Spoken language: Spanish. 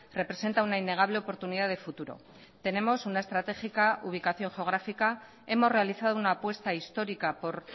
representa una innegable oportunidad de futuro tenemos una estratégica ubicación geográfica hemos realizado una apuesta histórica por